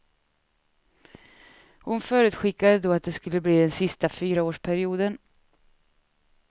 Hon förutskickade då att det skulle bli den sista fyraårsperioden.